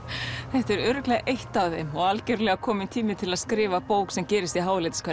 þetta er örugglega eitt af þeim og algjörlega kominn tími til að skrifa bók sem gerist í